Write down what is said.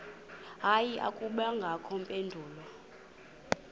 hayi akubangakho mpendulo